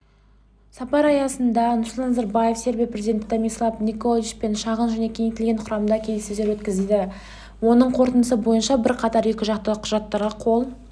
сапар аясында нұрсұлтан назарбаев сербия президенті томислав николичпен шағын және кеңейтілген құрамда келіссөздер өткізеді оның қорытындысы бойынша бірқатар екіжақты құжаттарға қол